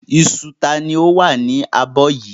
Iṣu ta ni ó wà nínú abọ́ yìí?